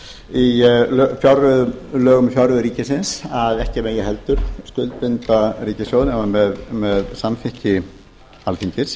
í lögum um fjárreiður ríkisins að ekki megi heldur skuldbinda ríkissjóð nema með samþykki alþingis